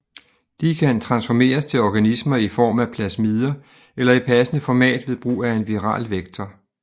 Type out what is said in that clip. De kan transformeres til organismer i form af plasmider eller i passende format ved brug af en viral vektor